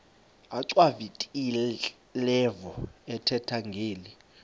achwavitilevo ethetha ngeli